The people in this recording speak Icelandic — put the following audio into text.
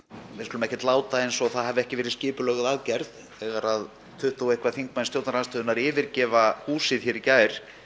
við skulum ekki láta eins og það hafi ekki verið skipulögð aðgerð þegar tuttugu og eitthvað þingmenn stjórnarandstöðunnar yfirgefa húsið hér í gær